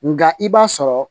Nka i b'a sɔrɔ